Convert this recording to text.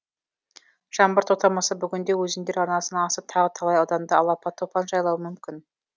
жаңбыр тоқтамаса бүгін де өзендер арнасынан асып тағы талай ауданды алапат топан жайлауы мүмкін